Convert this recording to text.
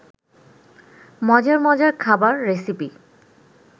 মজার মজার খাবার রেসিপি